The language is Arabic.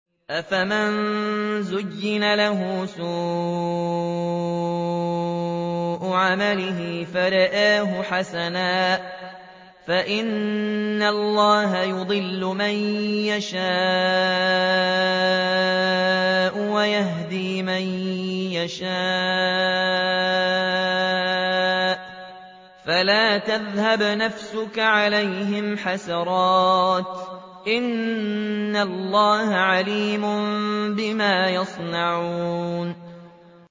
أَفَمَن زُيِّنَ لَهُ سُوءُ عَمَلِهِ فَرَآهُ حَسَنًا ۖ فَإِنَّ اللَّهَ يُضِلُّ مَن يَشَاءُ وَيَهْدِي مَن يَشَاءُ ۖ فَلَا تَذْهَبْ نَفْسُكَ عَلَيْهِمْ حَسَرَاتٍ ۚ إِنَّ اللَّهَ عَلِيمٌ بِمَا يَصْنَعُونَ